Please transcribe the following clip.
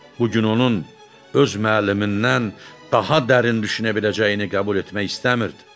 Bu gün onun öz müəllimindən daha dərin düşünə biləcəyini qəbul etmək istəmirdi.